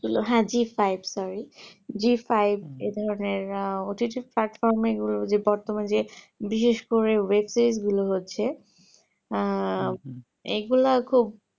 হ্যাঁ zee-five এর ধরণের OTT platform গুও যে বর্তমানে যে বিশেষ করে যে web series গুলো হচ্ছে আহ এগুলা খুব